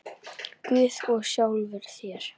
Guð í sjálfum þér.